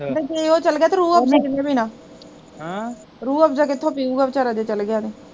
ਤੇ ਜੇ ਉਹ ਚੱਲਗਿਆ ਰੂਹਅਫਜ਼ਾਂ ਕਿਹਨੇ ਪੀਣਾ ਹਮ ਰੂਹਅਫਜ਼ਾਂ ਕਿਥੋਂ ਪੀਊਗਾ ਵਿਚਾਰਾ ਜੇ ਚੱਲਗਿਆ ਤੇ